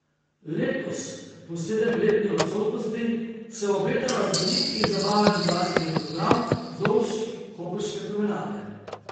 Letos, po sedemletni odsotnosti, se obeta raznolik in zabaven glasbeni program vzdolž koprske promenade.